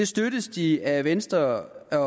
støttes de af venstre